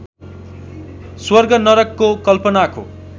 स्वर्ग नरकको कल्पनाको